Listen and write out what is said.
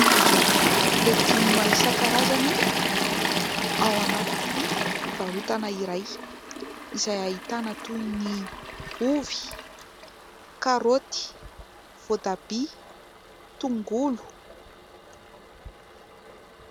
Legioma isan-karazany ao anatiny fivarotana iray ; izay ahitana toy : ny ovy, karaoty, voatabia, tongolo.